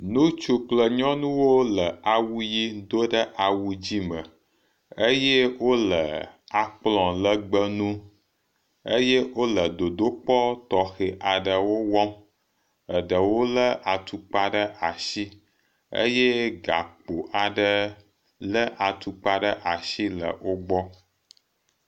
Ŋutsu kple nyɔnuwo le awu ʋi dom ɖe awu dzɛ̃ me eye wole akplɔ̃ legbee ŋu eye wole dodokpɔ tɔxɛ aɖewo wɔm. Eɖewo lé atukpa ɖe asi eye gakpo aɖe lé atukpa ɖe asi le wogbɔ.